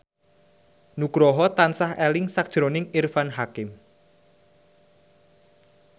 Nugroho tansah eling sakjroning Irfan Hakim